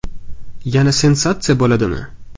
Yana sensatsiya bo‘ladimi?